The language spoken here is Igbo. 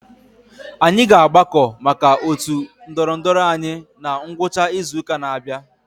Anyị ga-agbakọ maka otu ndorondoro anyị na ngwụcha izu ụka na-abịa.